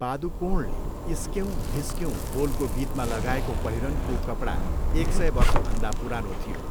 पादुकोणले 'इस्क्यौँ धिस्क्यौँ' बोलको गीतमा लगाएको पहिरनको कपडा एक सय वर्षभन्दा पुरानो थियो।